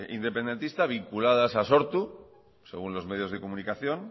independentista vinculadas a sortu según los medios de comunicación